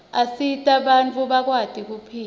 asita bantfu bakwati kuphila